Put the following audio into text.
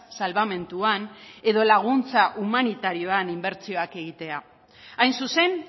salbamenduan edo laguntza humanitarioan inbertsioak egitea hain zuzen